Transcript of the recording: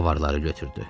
Avarları götürdü.